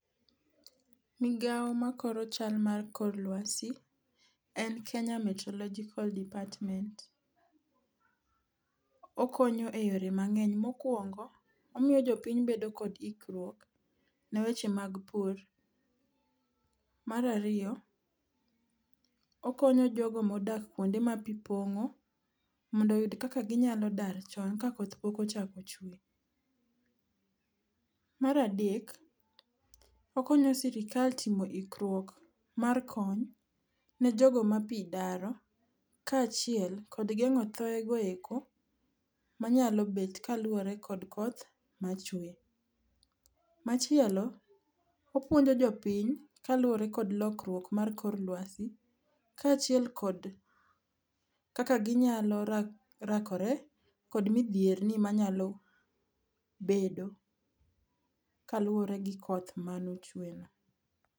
Migawo makoro chal mar kor lwasi en Kenya Meoterological Department. Okonyo e yore mang'eny. Mokwongo, omiyo jopiny bedo kod ikruok ne weche mag pur. Mar ariyo, okonyo jogo modak kwonde ma pi pong'o, mondo oyud kaka ginyalo dar chon ka koth pok ochako chuwe. Mar adek, okonyo Sirikal timo ikruok mar kony ne jogo ma pi daro kaachiel kod gengo thoye go eko manyalo bet kaluwore kod koth machuwe. Machielo, opuonjo jopiny kaluwore kod lokruok mar kor lwasi kaachiel kod kaka ginyalo rakore kod midhierni manyalo bedo kaluwore gi koth manochuweno.